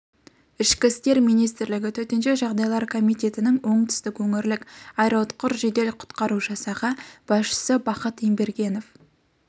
ішкі істер министрлігі төтенше жағдайлар комитетінің оңтүстік өңірлік аэроұтқыр жедел құтқару жасағы басшысы бахыт ембергенов